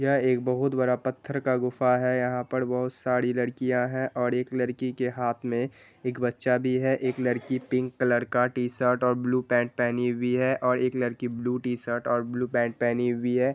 यहाँ एक बहुत बड़ा पत्थर का गुफा है| यहाँ पर बहुत सारी लड़कियाँ है और एक लड़की के हाथ में एक बच्चा भी है| एक लड़की पिंक कलर का टी-शर्ट और ब्लू पैन्ट पहनी हुई है और एक लड़की ब्लू टी-शर्ट और ब्लू पैन्ट पहनी हुई है।